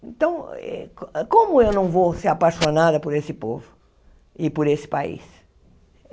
Então, eh como eu não vou ser apaixonada por esse povo e por esse país?